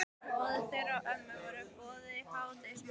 Móður þeirra og ömmu var boðið í hádegismatinn á eftir.